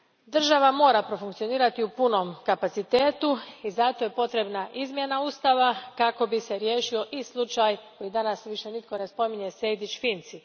Država mora profunkcionirati u punom kapacitetu i zato je potrebna izmjena Ustava kako bi se riješio i slučaj koji danas više nitko ne spominje, Sejdić Finci.